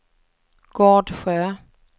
Gårdsjö